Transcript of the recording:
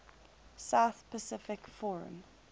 south pacific forum